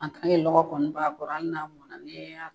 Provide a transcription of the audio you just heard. lɔgɔ kɔni b'a kɔrɔ hali n'a mɔna n'i y'a